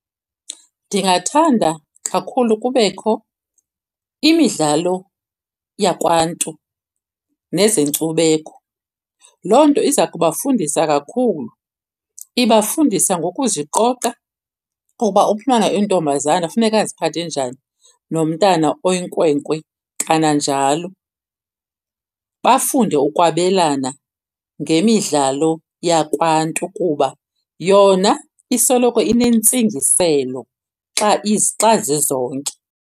Ndingathanda kakhulu kubekho imidlalo yakwaNtu nezenkcubeko. Loo nto iza kubafundisa kakhulu. Ibafundisa ngokuziqoqa ukuba umntana oyintombazana funeka aziphathe njani nomntana oyinkwenkwe kananjalo. Bafunde ukwabelana ngemidlalo yakwaNtu kuba yona isoloko inentsingiselo xa zizonke.